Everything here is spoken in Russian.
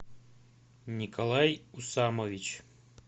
николай усамович